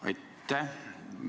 Aitäh!